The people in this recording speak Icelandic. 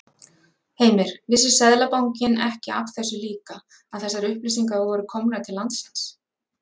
Heimir: Vissi Seðlabankinn ekki af þessu líka að þessar upplýsingar voru komnar til landsins?